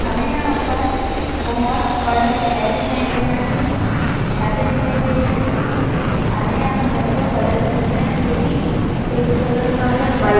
हमें यहां पर बहोत बड़ा शहर दिखाई दे रहा है छते दिखाई दे रही है हमें यहाँ पर घरो का कलर दिखाई दे रहा है जोकि पिंक कलर का है वाइट --